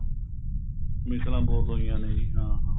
ਮਿਸਲਾਂ ਬਹੁਤ ਹੋਈਆਂ ਨੇ ਜੀ ਹਾਂ ਹਾਂ